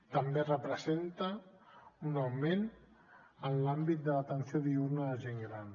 també representa un augment en l’àmbit de l’atenció diürna de gent gran